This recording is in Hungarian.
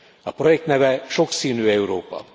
A projekt neve Sokszínű Európa.